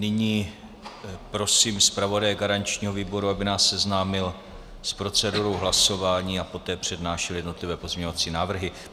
Nyní prosím zpravodaje garančního výboru, aby nás seznámil s procedurou hlasování a poté přednášel jednotlivé pozměňovací návrhy.